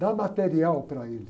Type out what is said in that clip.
Dá material para ele.